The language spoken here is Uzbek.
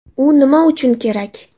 U nima uchun kerak?